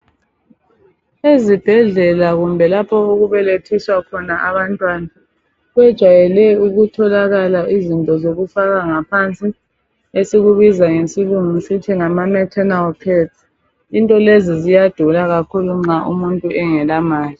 Izibhedlela kumbe lapho okubelethiswa khona abantwana, kujayele ukutholakala izinto zokufaka ngaphansi esikubiza ngesilungu sithi ngama naternal pads into lezi ziyadura kakhulu nxa umuntu engela mali.